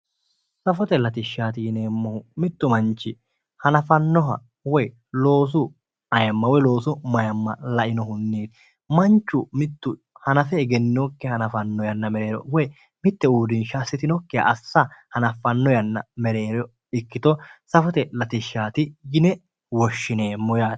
Safite latishshaati yineemmohu mittu manchi hanafannoha woyi loosu ayiimma woyi loosu mayiimma lainohunni manchu mittu hanafe egenninokkiha hanafanno yanna mereero woyi mitte uurrinsha hanaffe egentinokkiha hanaffanno yanna mereero ikkito safote latishshaati yine wishshineemmo yaate